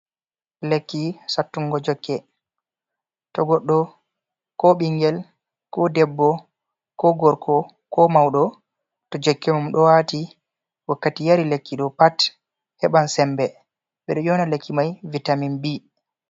Lekki sattungo jokke, to goɗɗo, ko ɓingel, ko ɗebbo, ko gorko, ko mauɗo, to jokke mum ɗo wati wakkati yari lekki ɗo pat heɓan sembe. Ɓedo ƴona lekki mai vitamin bi.